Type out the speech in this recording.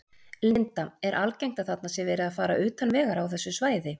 Linda: Er algengt að þarna sé verið að fara utan vegar á þessu svæði?